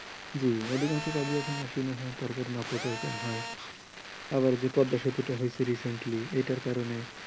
জি অধিকাংশ কাজই এখন machine এ হয় তার কারণে অপচয় কম হয় আবার পদ্মা সেতুটা হইছে recently এটার কারণে